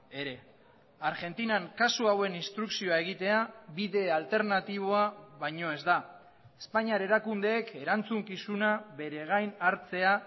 ere argentinan kasu hauen instrukzioa egitea bide alternatiboa baino ez da espainiar erakundeek erantzukizuna beregain hartzea